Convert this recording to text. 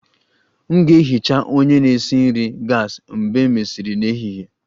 M ga-ehicha onye na-esi nri gas mgbe e mesịrị n'ehihie